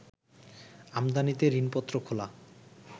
আমদানিতে ঋণপত্র খোলা